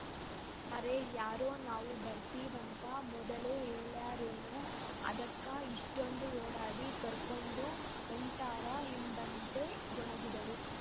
ಅರೆ ಯಾರೋ ನಾವು ಬರ್ತಿವಂತ ಮೊದಲೇ ಹೇಳ್ಯಾರೇನೋಅದಕ್ಕ ಇಷ್ಟೊಂದು ಓಡಾಡಿ ಕರ್ಕೊಂಡು ಹೊಂಟಾರ ಎಂಬಂತೆ ಗೊಣಗಿದಳು